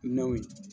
Naw ye